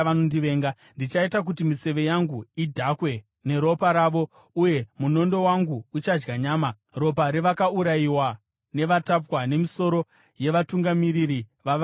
Ndichaita kuti miseve yangu idhakwe neropa ravo, uye munondo wangu uchadya nyama: ropa revakaurayiwa nevatapwa, nemisoro yavatungamiri vavavengi vangu.”